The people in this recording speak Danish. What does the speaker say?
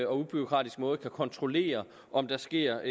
og ubureaukratisk måde kan kontrollere om der sker